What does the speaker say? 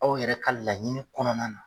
Aw yɛrɛ ka laɲini kɔnɔna na.